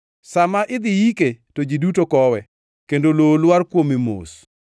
Sa ma idhi yike to ji duto kowe, kendo lowo lwar kuome mos.